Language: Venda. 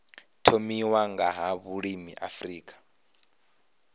thomiwa nga ha vhulimi afrika